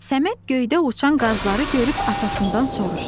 Səməd göydə uçan qazları görüb atasından soruşdu.